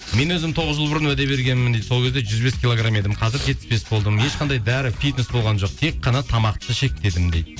мен өзім тоғыз жыл бұрын уәде бергенмін дейді сол кезде жүз бес килограмм едім қазір жетпіс бес болдым ешқандай дәрі фитнес болған жоқ тек қана тамақты шектедім дейді